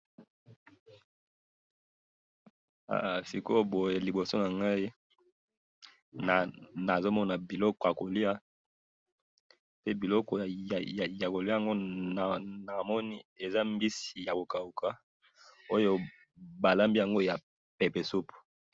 sikoye boye liboso nangai nazo mona biloko yako lia bikolo ya ko lia na moni eza mbizi yako kauka oyo ba lambeli yako ya pepe supu